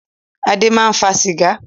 Adé máa ń fa sìgá.